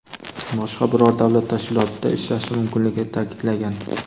boshqa biror davlat tashkilotida ishlashi mumkinligini ta’kidlagan.